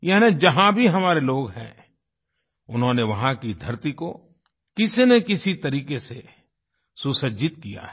यानी जहाँ भी हमारे लोग हैं उन्होंने वहाँ की धरती को किसी न किसी तरीके से सुसज्जित किया है